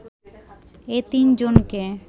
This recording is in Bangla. এ তিন জনকে